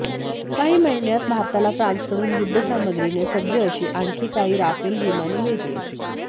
काही महिन्यांत भारताला फ्रान्सकडून युध्दसाम्रगीने सज्ज अशी आणखी काही राफेल विमाने मिळतील